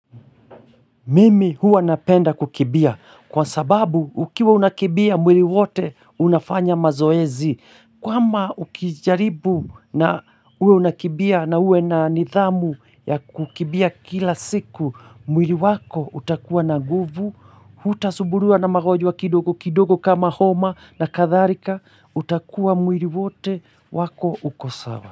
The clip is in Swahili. Mimi huwa napenda kukimbia kwa sababu ukiwa unakimbia mwili wote unafanya mazoezi. Kwama ukijaribu na uwe unakimbia na uwe na nidhamu ya kukimbia kila siku, mwili wako utakuwa na nguvu, hutasumbuliwa na magonjwa kidogo kidogo kama homa na kadhalika, utakuwa mwili wote wako uko sawa.